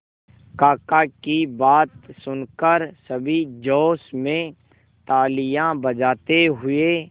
काका की बात सुनकर सभी जोश में तालियां बजाते हुए